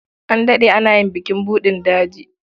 An daɗe ana yin bukin buɗin daji.